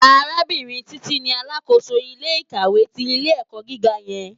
Arábìrín Titi ni àlákósó ilé ikáwé ti ilé èkò gigá yèn